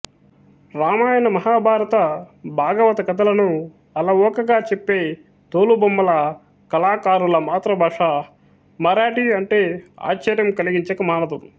రామాయణ మహాభారత భాగవత కథ లను అలవోకగా చెప్పే తోలుబొమ్మల కళాకారుల మాతృభాష మరాఠీ అంటే ఆశ్చర్యం కలిగించక మానదు